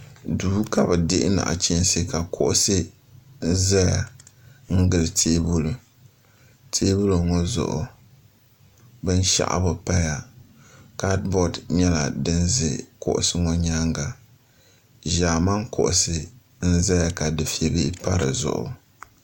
Duu ka bi dihi naɣichinsi ka kuɣusi zaya n gili tɛɛbuli tɛɛbuli ŋɔ zuɣu bini shɛɣu bi paya kadibɔd nyɛla dini zɛ kuɣusi ŋɔ yɛanga zaamani kuɣusi n zaya ka dufeli bihi pa di zuɣu.